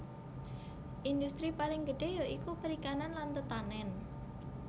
Indhustri paling gedhé ya iku perikanan lan tetanèn